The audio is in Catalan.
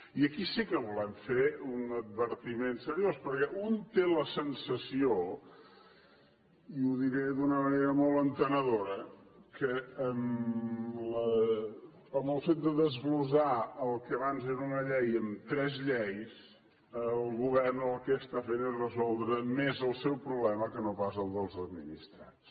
i aquí sí que volem fer un advertiment seriós perquè un té la sensació i ho diré d’una manera molt entenedora que en el fet de desglossar el que abans era una llei en tres lleis el govern el que fa és resoldre més el seu problema que no pas el dels administrats